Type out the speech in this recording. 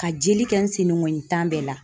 Ka jeli kɛ n sen dengɔnnin tan bɛɛ la.